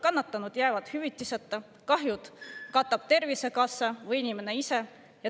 Kannatanud jäävad hüvitiseta, kahjud katab Tervisekassa või inimene ise.